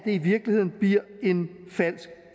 i virkeligheden en falsk